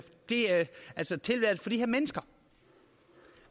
mennesker